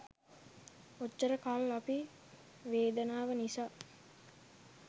ඔච්චර කල් අපි වේදනාව නිසා